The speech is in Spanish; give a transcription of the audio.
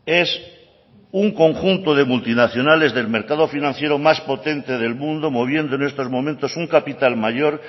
es un conjunto de multinacionales del mercado financiero más potente del mundo moviendo en estos momentos un capital mayor